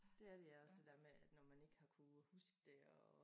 Det er det ja også det dér med at når ikke har kunne huske det og